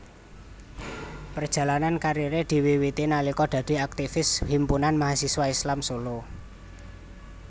Perjalanan kariere diwiwiti nalika dadi aktivis Himpunan Mahasiswa Islam Solo